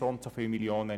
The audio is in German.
Das stimmt nicht.